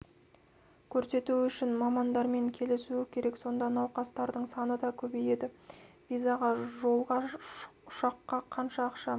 көрсетуі үшін мамандармен келісу керек сонда науқастардың саны да көбейеді визаға жолға ұшаққа қанша ақша